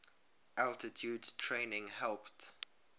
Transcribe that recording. altitude training helped